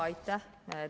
Aitäh!